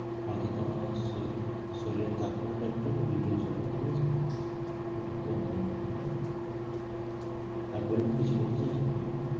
ওতে তোমার শরীর~ শরীরের তাপমাত্রাটা একটু reduce হবে, ঠিক আছে? একটু কমবে, হ্যাঁ? হ্যাঁ বলুন, কিছু বলতে চাইছেন? বলুন।